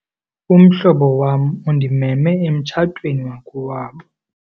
Umhlobo wam undimeme emtshatweni wakowabo.